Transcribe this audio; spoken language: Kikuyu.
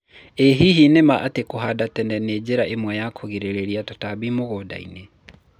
ĩ hihi nĩ maa ati kũhanda tene nĩ njĩra ĩmwe ya kũrĩgĩrĩria tũtambi mũgũnda-inĩ